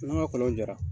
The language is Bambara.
N'an ka kɔlɔn jara